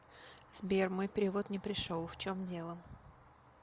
сбер мой перевод не пришел в чем дело